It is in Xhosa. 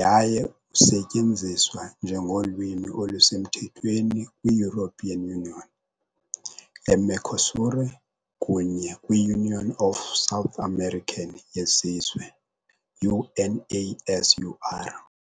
yaye usetyenziswa njengolwimi olusemthethweni European Union, Mercosur kunye Union of South American yeZizwe, UNASUR.